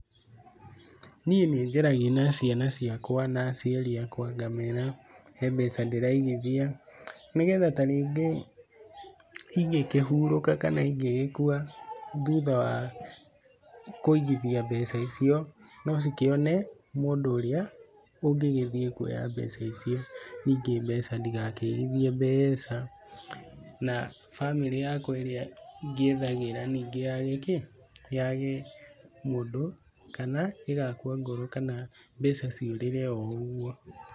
Niĩ nĩ njaragia na ciana ciakwa na aciari akwa ngamĩra he mbeca ndĩraigithia, nĩgetha ta rĩngĩ ingĩkĩhurũka kana ingĩgĩkua thutha wa kũigithia mbeca icio no cikĩone mũndũ ũrĩa ũngĩthiĩ kuoya mbeca icio, ningĩ mbeca ndigakĩigithie mbeca na bamĩrĩ yakwa ĩrĩa ngĩethagĩra ningĩ yake kĩ? yage mũndũ kana ĩgakua ngoro kana mbeca ciũrire oũguo.